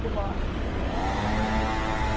Fumar.